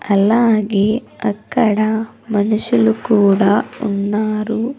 అలాగే అక్కడ మనుషులు కూడా ఉన్నారు.